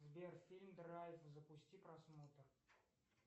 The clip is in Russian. сбер фильм драйв запусти просмотр